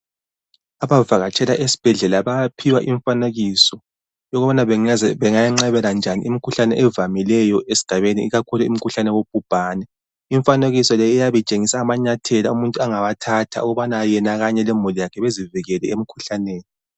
Abavakatshela esibhedlela bayaphiwa imfanekiso yokubana bengayenqabela njani imikhuhlane evamileyo esigabeni ikakhulu imikhuhlane yabongubhane. Imfanekiso le iyabe itshengisa amanyathelo umuntu angawathatha ukuba yena kanye lemuli yakhe bezivikele emikhuhlaneni.